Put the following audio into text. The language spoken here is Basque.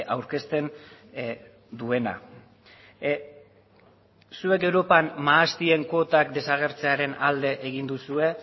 aurkezten duena zuek europan mahastien kuotak desagertzearen alde egin duzue